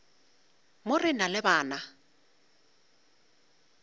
mo re na le bana